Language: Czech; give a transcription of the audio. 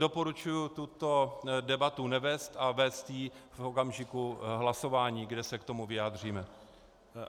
Doporučuji tuto debatu nevést a vést ji v okamžiku hlasování, kde se k tomu vyjádříme.